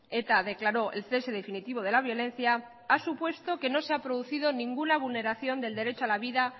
eta declaró el cese definitivo de la violencia ha supuesto que no se ha producido ninguna vulneración del derecho a la vida